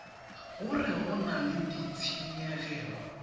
gore go na le ditshenyegelo